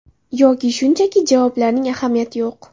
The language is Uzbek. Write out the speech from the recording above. Yoki shunchaki javoblarning ahamiyati yo‘q.